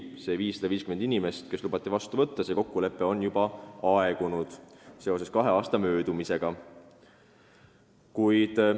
Samas on kokkulepe, millega lubati vastu võtta 550 inimest, seoses kahe aasta möödumisega juba aegunud.